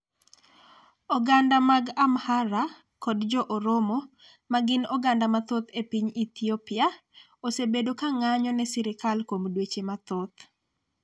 Oganda mag Amhara kod Jo-Oromo, ma gin oganda mathoth e piny Ethiopia, osebedo ka ng'anjo ne sirikal kuom dweche mathoth.